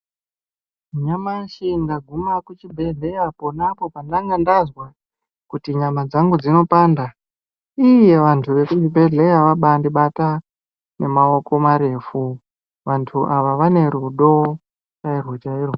Nyamashi ndaguma kuchibhedhleya ponapo pandanga ndazwa kuti nyama dzangu dzinopanda uye vantu vekuzvibhedhleya vabandibata ngemaoko marefu vantu ava vane rudo chairwo chairwo.